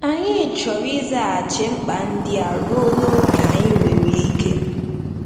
Anyị chọrọ ịzaghachi mkpa ndị a ruo n'ókè anyị nwere ike.